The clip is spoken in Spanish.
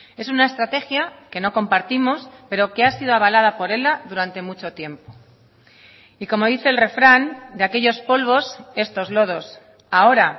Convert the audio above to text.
es una estrategia que no compartimos pero que ha sido avalada por ela durante mucho tiempo y como dice el refrán de aquellos polvos estos lodos ahora